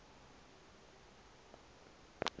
yafunza kuye if